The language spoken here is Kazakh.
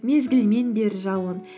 мезгілімен бер жауын